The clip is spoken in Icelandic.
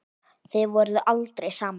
Þið voruð aldrei saman.